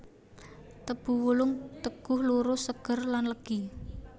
Tebu wulung teguh lurus seger lan legi